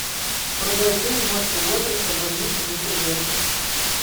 врубай фильм марка уотерса больница никербокер